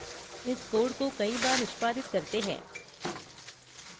इस code को कई बार निष्पादित करते हैं